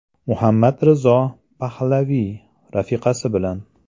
Muhammad Rizo Pahlaviy rafiqasi bilan.